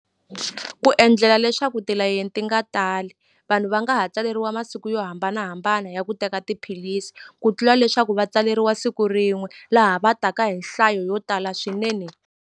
Ku endlela leswaku tilayeni ti nga tali vanhu va nga ha tsaleriwa masiku yo hambanahambana ya ku teka tiphilisi ku tlula leswaku va tsaleriwa siku rin'we laha va taka hi nhlayo yo tala swinene.